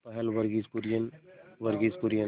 पहल वर्गीज कुरियन वर्गीज कुरियन